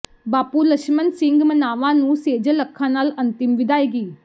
ਬਾਪੂ ਲਛਮਣ ਸਿੰਘ ਮਨਾਵਾਂ ਨੂੰ ਸੇਜਲ ਅੱਖਾਂ ਨਾਲ ਅੰਤਿਮ ਵਿਦਾਇਗੀ